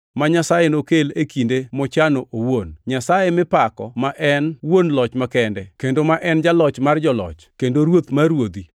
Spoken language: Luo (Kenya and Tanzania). ma Nyasaye nokel e kinde mochano owuon; Nyasaye mipako, ma en wuon Loch makende, kendo ma en Jaloch mar joloch kendo Ruoth mar ruodhi;